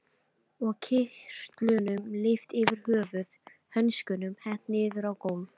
Og kyrtlunum lyft yfir höfuð, hönskunum hent niður á gólf.